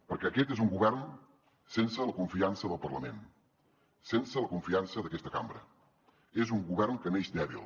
perquè aquest és un govern sense la confiança del parlament sense la confiança d’aquesta cambra és un govern que neix dèbil